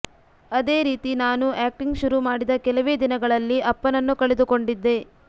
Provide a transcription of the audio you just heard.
ಅದೇ ರೀತಿ ನಾನೂ ಆಕ್ಟಿಂಗ್ ಶುರು ಮಾಡಿದ ಕೆಲವೇ ದಿನಗಳಲ್ಲಿ ಅಪ್ಪನನ್ನು ಕಳೆದುಕೊಂಡಿದ್ದೆ